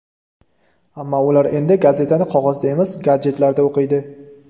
Ammo ular endi gazetani qog‘ozda emas, gadjetlarda o‘qiydi.